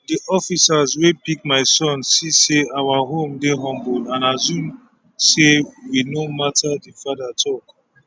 di officers wey pick my son see say our home dey humble and assume say we no matter di father tok